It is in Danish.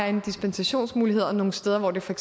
en dispensationsmulighed nogle steder hvor det for